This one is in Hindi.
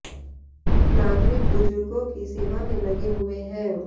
नागरिक बुजुर्गों की सेवा में लगे हुए हैं